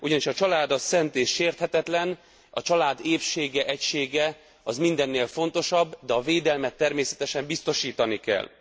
Ugyanis a család szent és sérthetetlen. A család épsége, egysége mindennél fontosabb, de a védelmet természetesen biztosítani kell.